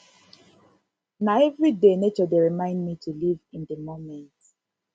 na everyday nature dey remind me to live in di moment